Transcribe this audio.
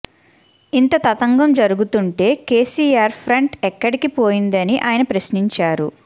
ఇంత తతంగం జరుగుతుంటే కేసీఆర్ ఫ్రంట్ ఎక్కడికి పోయిందని ఆయన ప్రశ్నించారు